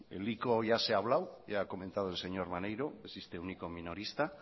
el ico ya se ha hablado ya ha comentado el señor maneiro que existe un ico minorista